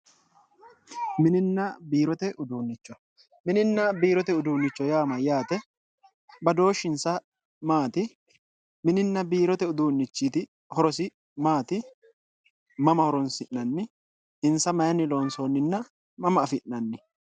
mininna biirote uduunnicho mininna biirote uduunnicho yaa mayyaate badooshshinsa maati? mininna biirote uduunnichiti horosi maati? mama horoonsi'nanninna insa mayinni loonsoonninna mama afi'nanni?